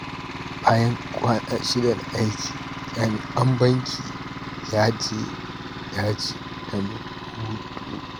Bayan kwana shida na aiki, jami’in banki ya je daji don hutu.